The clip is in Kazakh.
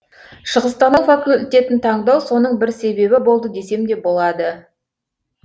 шығыстану факультетін таңдау соның бір себебі болды десем де болады